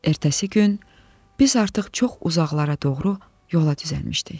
Ertəsi gün biz artıq çox uzaqlara doğru yola düzəlmişdik.